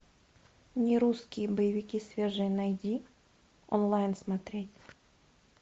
нерусские боевики свежие найди онлайн смотреть